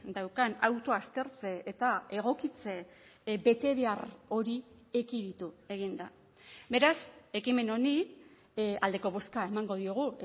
daukan auto aztertze eta egokitze betebehar hori ekiditu egin da beraz ekimen honi aldeko bozka emango diogu